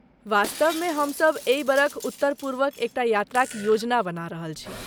वास्तवमे, हमसब एहि बरख उत्तर पूर्वक एकटा यात्राक योजना बना रहल छी।